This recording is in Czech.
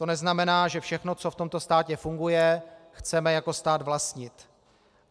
To neznamená, že všechno, co v tomto státě funguje, chceme jako stát vlastnit.